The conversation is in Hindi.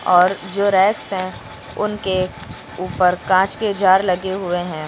और जो रैक्स हैं उनके ऊपर कांच के जार लगे हुए हैं।